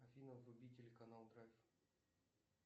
афина вруби телеканал драйв